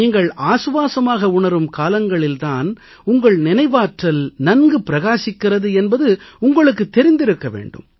நீங்கள் ஆசுவாசமாக உணரும் காலங்களில் தான் உங்கள் நினைவாற்றல் நன்கு பிரகாசிக்கிறது என்பது உங்களுக்குத் தெரிந்திருக்க வேண்டும்